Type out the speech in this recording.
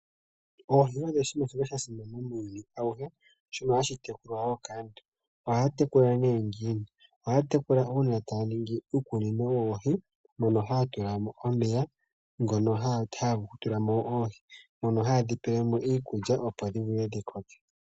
Oohi odho oshinima shoka sha simana muuyuni auhe, oshinima hashi tekulwa wo kaantu. Ohaa tekula nee ngiini? Ohaa tekula uuna taa ningi uukunino woohi mono haa tula mo omeya, ngono haa tula mo oohi mono haye dhi pele mo iikulya opo dhi vule dhi koke.